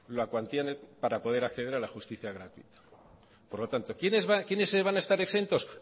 la cuantía para poder acceder a la justicia gratuita por lo tanto quiénes van a estar exentos